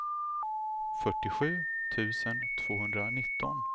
fyrtiosju tusen tvåhundranitton